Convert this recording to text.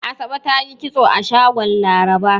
Asabe ta yi kitso a shagon Laraba.